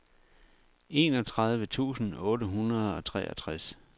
enogtredive tusind otte hundrede og treogtres